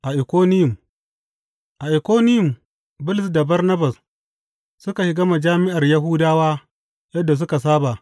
A Ikoniyum A Ikoniyum Bulus da Barnabas suka shiga majami’ar Yahudawa yadda suka saba.